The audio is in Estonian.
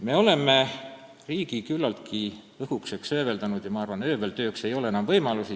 Me oleme riigi küllaltki õhukeseks hööveldanud ja ma arvan, et höövlitööks ei ole enam võimalusi.